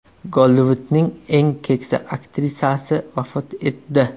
Gollivudning eng keksa aktrisasi vafot etdi.